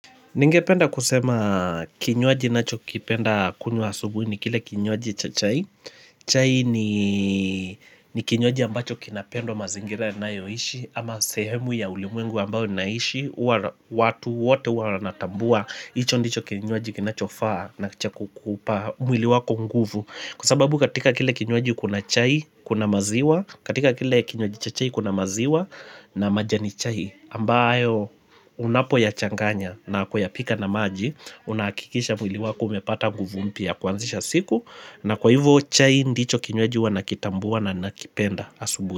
Ningependa kusema kinywaji nacho kipenda kunywa asubuhi ni kile kinywaji cha chai. Chai ni kinywaji ambacho kinapendwa mazingira na yo ishi. Ama sehemu ya ulimwengu ambao naishi, uwa watu wote uwa natambua. Hicho ndicho kinywaji kinachofaa na cha kukupa mwili wako nguvu. Kwa sababu katika kile kinywaaji kuna chai, kuna maziwa. Katika kile kinywaji cha chai kuna maziwa na majani chai. Ambayo unapoya changanya na kuyapika na maji unahakikisha mwili wako umepata nguvu mpya ya kwanzisha siku na kwa hivyo chai ndicho kinwaji wanakitambua na nakipenda asubuhi.